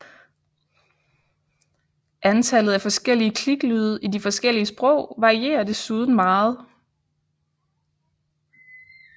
Antallet af forskellige kliklyde i de forskellige sprog varierer desuden meget